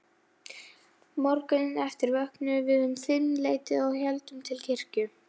Hann var um langan tíma bæði sparisjóðsstjóri og prestur.